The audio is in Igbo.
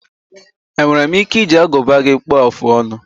Enwere m ike iji aguba gị kpuọ afụ ọnụ?